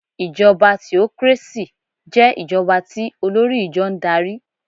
Ìjọba theocracy jẹ́ ìjọba tí olórí ìjọ n darí